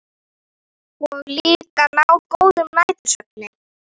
Og líka ná góðum nætursvefni.